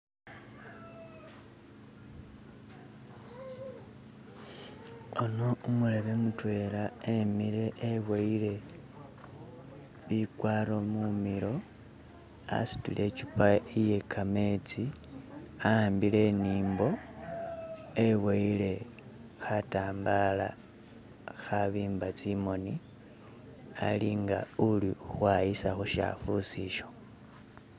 Ano umulebe mutwela emile eboyile bikwaro mukhono asutile ichupa iye kametsi aambile imimbo eboyile khatambala khabimba tsimoni ali nga uli ukhwayisa khusyakhusi isho.